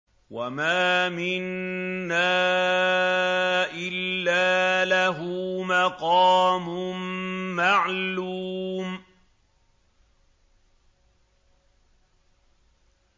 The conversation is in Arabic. وَمَا مِنَّا إِلَّا لَهُ مَقَامٌ مَّعْلُومٌ